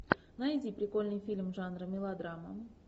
найди прикольный фильм жанра мелодрама